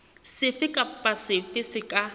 sefe kapa sefe se ka